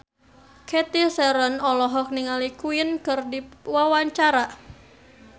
Cathy Sharon olohok ningali Queen keur diwawancara